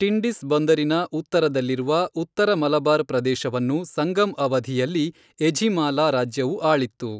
ಟಿಂಡಿಸ್ ಬಂದರಿನ ಉತ್ತರದಲ್ಲಿರುವ ಉತ್ತರ ಮಲಬಾರ್ ಪ್ರದೇಶವನ್ನು ಸಂಗಮ್ ಅವಧಿಯಲ್ಲಿ ಎಝಿಮಾಲಾ ರಾಜ್ಯವು ಆಳಿತ್ತು.